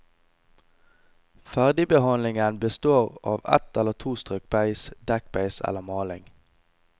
Ferdigbehandlingen består av ett eller to strøk beis, dekkbeis eller maling.